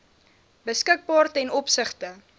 beskikbaar ten opsigte